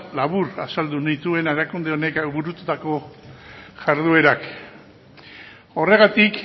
labur azaldu nituen erakunde honek burututako jarduerak horregatik